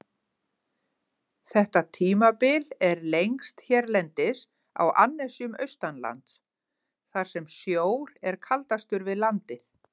Þetta tímabil er lengst hérlendis á annesjum austanlands, þar sem sjór er kaldastur við landið.